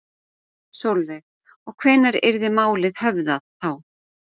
Sólveig: Og hvenær yrði málið höfðað þá?